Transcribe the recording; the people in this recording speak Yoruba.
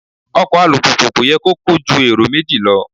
Ọkọ̀ alùpùpù kò yẹ kó kó ju èrò méjì lọ.